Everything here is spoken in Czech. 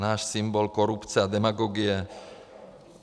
Náš symbol korupce a demagogie.